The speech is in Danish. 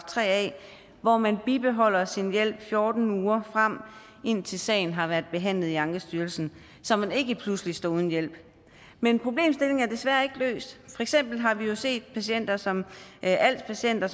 tre a hvor man bibeholder sin hjælp i fjorten uger frem indtil sagen har været behandlet i ankestyrelsen så man ikke pludselig står uden hjælp men problemstillingen er desværre ikke løst eksempel har vi jo set patienter som als patienter